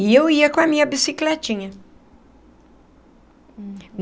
E eu ia com a minha bicicletinha.